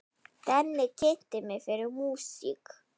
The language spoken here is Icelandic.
Denni kynnti mig fyrir músík.